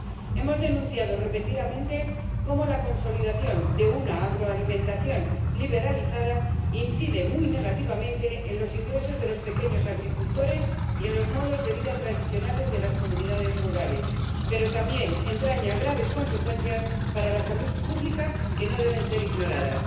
Hemos denunciado repetidamente cómo la consolidación de una agroalimentación liberalizada incide muy negativamente en los ingresos de los pequeños agricultores y en los modos de vida tradicionales de las comunidades rurales, pero también entraña graves consecuencias para la salud pública que no deben ser ignoradas.